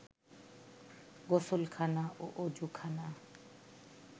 গোসলখানা ও অযুখানা